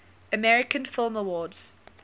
american film awards